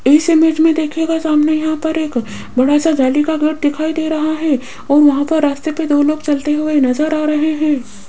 इस इमेज में देखिएगा सामने यहां पर एक बड़ा सा जाली का घर दिखाई दे रहा है और वहां पर रास्ते पे दो लोग चलते हुए नजर आ रहे हैं।